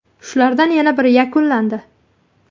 Shulardan yana biri yakunlandi.